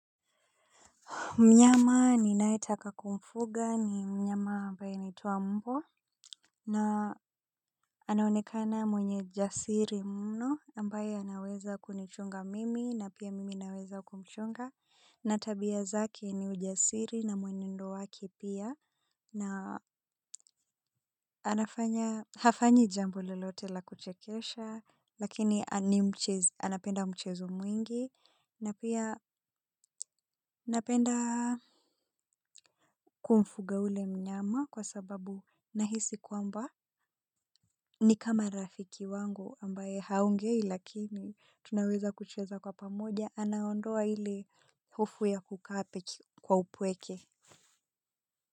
Mnyama ninaetaka kumfuga ni mnyama ambaye anaitwa mbbwa na anaonekana mwenye jasiri mno ambaye anaweza kunichunga mimi na pia mimi naweza kumchunga na tabia zake ni ujasiri na mwenendo wake pia na hafanyi jambo lolote la kuchekesha lakini anapenda mchezo mwingi na pia napenda kumfuga ule mnyama kwa sababu nahisi kwamba ni kama rafiki wangu ambaye haongei lakini tunaweza kucheza kwa pamoja anaondoa ile hofu ya kukaa peke kwa upweke.